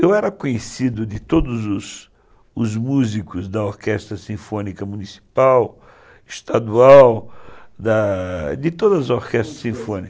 Eu era conhecido de todos os músicos da orquestra sinfônica municipal, estadual, da de todas as orquestras sinfônicas.